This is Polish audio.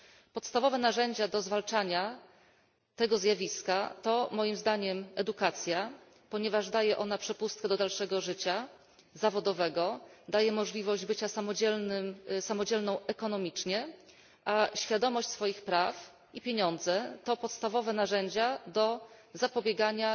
Podstawowe narzędzie do zwalczania tego zjawiska to moim zdaniem edukacja, ponieważ daje ona przepustkę do dalszego życia zawodowego, daje możliwość bycia samodzielną ekonomicznie a świadomość swoich praw i pieniądze to podstawowe narzędzia do zapobiegania